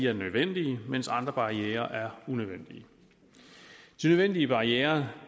er nødvendige mens andre barrierer er unødvendige de nødvendige barrierer